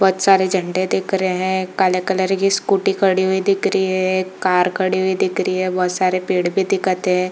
बहोत सारे झंडे दिख रहे है काले कलर की स्कूटी खड़ी हुई दिख रही है एक कार खड़ी हुई दिख रही है बहोत सारे पेड़ भी दिखत है।